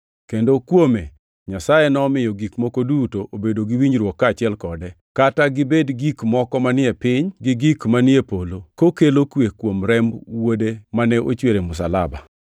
kendo kuome Nyasaye nomiyo gik moko duto obedo gi winjruok kaachiel kode, kata gibed gik moko manie piny gi gik manie polo, kokelo kwe kuom remb Wuode mane ochwer e msalaba.